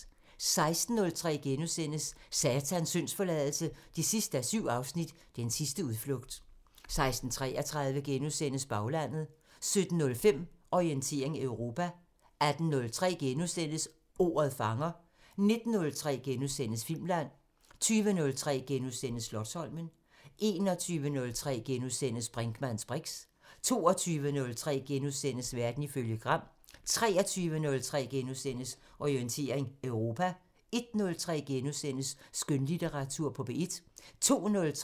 16:03: Satans syndsforladelse 7:7 – Den sidste udflugt * 16:33: Baglandet * 17:05: Orientering Europa 18:03: Ordet fanger * 19:03: Filmland * 20:03: Slotsholmen * 21:03: Brinkmanns briks * 22:03: Verden ifølge Gram * 23:03: Orientering Europa * 01:03: Skønlitteratur på P1 *